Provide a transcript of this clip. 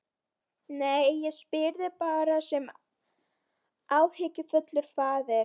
Nei, ég spyr þig bara sem áhyggjufullur faðir.